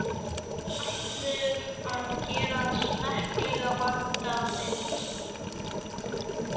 Við ætlum að gera smekklega, vandaða mynd.